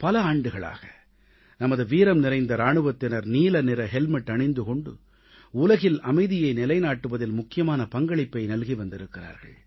பல ஆண்டுகளாக நமது வீரம் நிறைந்த இராணுவத்தினர் நீல ஹெல்மெட் அணிந்து கொண்டு உலகில் அமைதியை நிலைநாட்டுவதில் முக்கியமான பங்களிப்பை நல்கி வந்திருக்கிறார்கள்